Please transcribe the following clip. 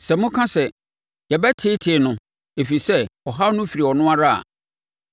“Sɛ moka sɛ, ‘Yɛbɛteetee no, ɛfiri sɛ ɔhaw no firi ɔno ara’ a,